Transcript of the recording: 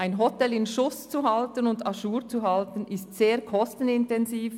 Ein Hotel in Schuss und à jour zu halten, ist sehr kostenintensiv.